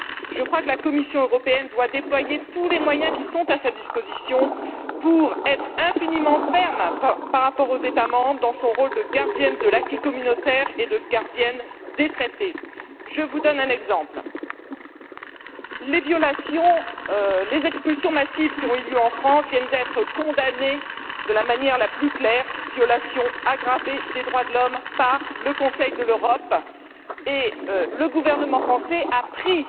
Je crois que la Commission européenne doit déployer tous les moyens qui sont à sa disposition pour être extrêmement ferme par rapport aux États membres dans son rôle de gardienne de l'acquis communautaire et de gardienne des traités. Je vous donne un exemple les expulsions massives qui ont eu lieu en France viennent d'être condamnées de la manière la plus claire comme violations aggravées des droits de l'homme par le Conseil de l'Europe, et le gouvernement français a pris